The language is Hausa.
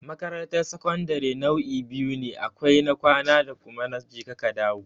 Makarantar sakandare nau'i biyu ne, akwai na kwana da kuma na je ka ka dawo.